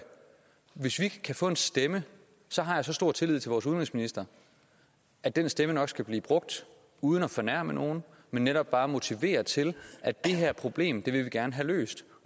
hvis vi kan få den stemme har jeg så stor tillid til vores udenrigsminister at den stemme nok skal blive brugt uden at fornærme nogen men netop bare til at motivere til at det her problem vil vi gerne have løst